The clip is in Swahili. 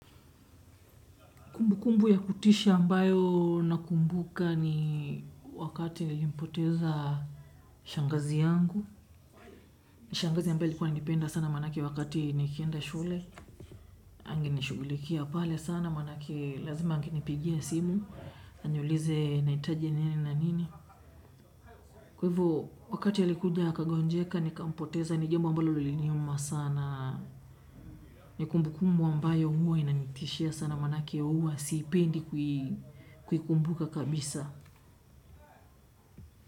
Kumbu kumbu ya kutisha ambayo nakumbuka ni wakati nilimpoteza shangazi yangu. Shangazi ambaye alikuwa ananipenda sana maanake wakati nikienda shule. Angenishughulikia pale sana maanake lazima akinipigia simu. Aniulize nahitaji nini na nini. Kwa hivo wakati yalikuja akagonjeka nikampoteza ni jambo ambalo liliniuma sana. Ni kumbu kumbu ambayo huwa inanitishia sana maanake huwa siipendi kuikumbuka kabisa.